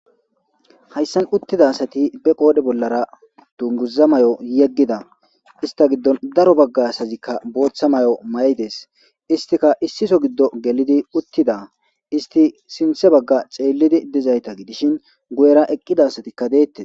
hayssan uttida asati be qoode bollara dunguza may7o yeggida ista giddon daro bagga asazikka booththa may7o may7ides istika issiso giddo gelidi uttida isti sinthe bagga ceellidi dizayta gidishin guyera eqqida asatikka deettes